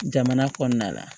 Jamana kɔnɔna la